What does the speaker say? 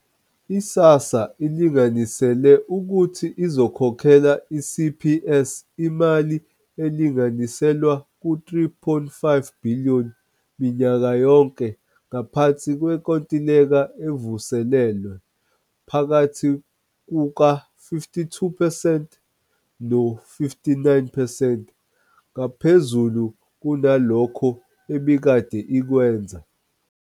I-SASSA ilinganisele ukuthi izokhokhela i-CPS imali elinganiselwa ku-R3.5 billion minyaka yonke ngaphansi kwenkontileka evuselelwe, phakathi kuka-52 percent no-59 percent ngaphezulu kunalokho ebikade ikwenza.